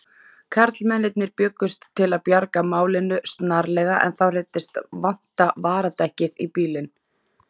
Karlmennirnir bjuggust til að bjarga málinu snarlega en þá reyndist vanta varadekkið í bílinn.